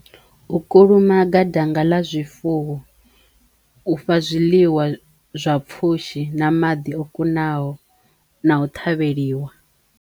U kulumaga danga ḽa zwifuwo, u fha zwiḽiwa zwa pfhushi na maḓi o kunaho na u ṱhavheliwa.